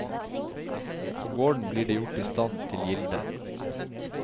På gården blir det gjort i stand til gilde.